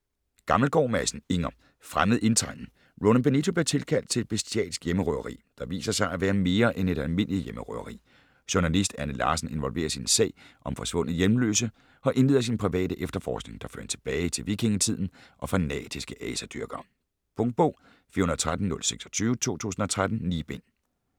Gammelgaard Madsen, Inger: Fremmed indtrængen Roland Benito bliver tilkaldt til et bestialsk hjemmerøveri, der viser sig at være mere end et almindeligt hjemmerøveri. Journalist Anne Larsen involveres i en sag om forsvundne hjemløse og indleder sin private efterforskning, der fører hende tilbage til vikingetiden og fanatiske asadyrkere. Punktbog 413026 2013. 9 bind.